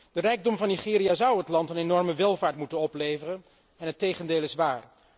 De rijkdom van Nigeria zou het land een enorme welvaart moeten opleveren en het tegendeel is waar.